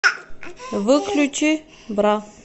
выключи бра